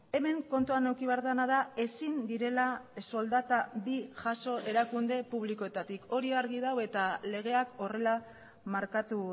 hemen kontuan eduki behar dena da ezin direla soldata bi jaso erakunde publikoetatik hori argi dago eta legeak horrela markatu